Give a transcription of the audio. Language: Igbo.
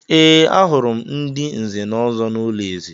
Ee, ahụrụ m ndị Nze na Ọzọ n’ụlọ eze.